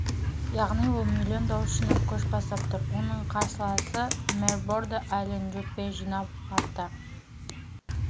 яғни ол миллион дауыс жинап көш бастап тұр оның қарсыласымэр бордо ален жюппе жинап артта